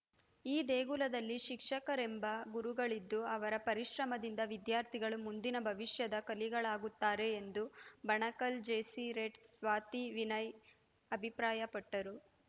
ಈ ದೇಗುಲದಲ್ಲಿ ಶಿಕ್ಷಕರೆಂಬ ಗುರುಗಳಿದ್ದು ಅವರ ಪರಿಶ್ರಮದಿಂದ ವಿದ್ಯಾರ್ಥಿಗಳು ಮುಂದಿನ ಭವಿಷ್ಯದ ಕಲಿಗಳಾಗುತ್ತಾರೆ ಎಂದು ಬಣಕಲ್‌ ಜೆಸಿರೆಟ್‌ ಸ್ವಾತಿ ವೀನಯ್ ಅಭಿಪ್ರಾಯಪಟ್ಟರು